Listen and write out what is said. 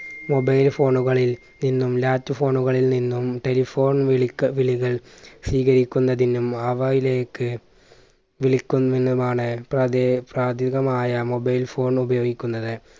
mobile phone കളിൽ നിന്നും latch phone കളിൽ നിന്നും telephone വിളിക്ക വിളികൾ സ്വീകരിക്കുന്നതിനും അവയിലേക്ക് വിളിക്കുന്നതിനുമാണ് പ്രാദേ പ്രാദ്ദ്വികമായ mobile phone ഉപയോഗിക്കുന്നത്.